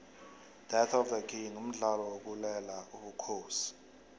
death of the king mdlalo wokulela ubukhosi